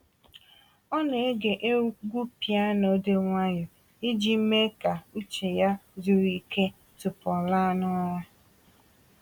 Ọ na-ege egwu piyano dị nwayọọ iji mee ka uche ya zuru ike tupu ọ laa n’ụra.